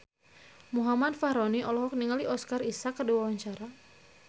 Muhammad Fachroni olohok ningali Oscar Isaac keur diwawancara